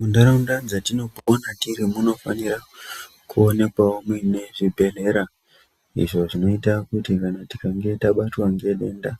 Mundaraunda dzatinopona tiri munofanikawo kuonekwa mune zvibhedhlera izvo zvinoita kuti kana tabatwa ngedenda